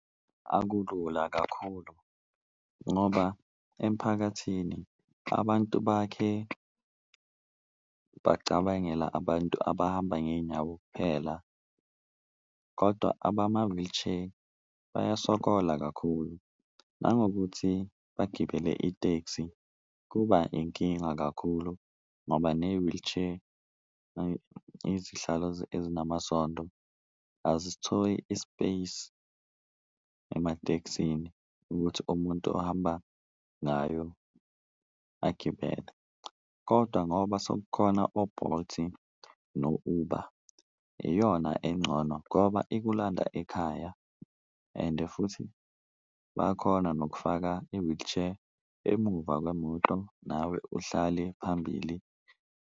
Akulula kakhulu ngoba emphakathini abantu bakhe bacabangele abantu abahamba ngeyinyawo kuphela kodwa abama-wheelchair bayasokola kakhulu, nangokuthi bagibele itekisi kuba inkinga kakhulu ngoba ne-wheelchair. Izihlalo ezinamasondo azisitholi i-space ematekisini ukuthi umuntu ohamba ngayo agibele, kodwa ngoba sekukhona o-Bolt no-Uber iyona engcono ngoba ikulanda ekhaya. Ende futhi bayakhona nokufaka i-wheelchair emuva kwemoto nawe uhlale phambili.